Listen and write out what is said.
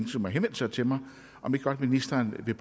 som har henvendt sig til mig om ikke godt ministeren vil